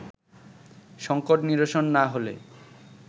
সঙ্কট নিরসন না হলে